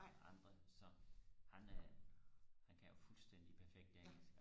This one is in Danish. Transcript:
og andre så han øh han kan jo fuldstændig perfekt engelsk